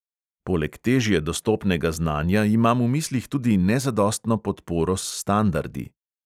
Poleg težje dostopnega znanja imam v mislih tudi nezadostno podporo s standardi.